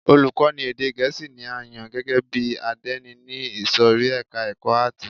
Olùkọ́ni èdè gẹ̀ẹ́sì ni a yàn gẹ́gẹ́ bí àdénì ní ìsòrí ẹka ẹ̀kọ́ àátì.